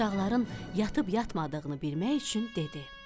Uşaqların yatıb yatmadığını bilmək üçün dedi.